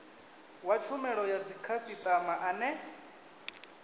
wa tshumelo ya dzikhasitama ane